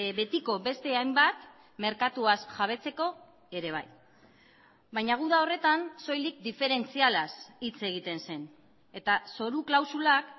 betiko beste hainbat merkatuaz jabetzeko ere bai baina guda horretan soilik diferentzialaz hitz egiten zen eta zoru klausulak